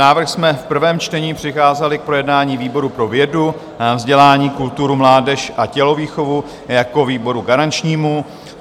Návrh jsme v prvém čtení přikázali k projednání výboru pro vědu, vzdělání, kulturu, mládež a tělovýchovu jako výboru garančnímu.